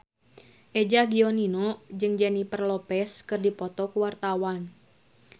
Eza Gionino jeung Jennifer Lopez keur dipoto ku wartawan